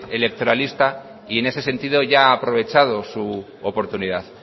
electoralista y en ese sentido ya ha aprovechado su oportunidad